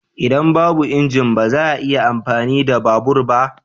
Idan babu injin, ba za a iya amfani da babur ba.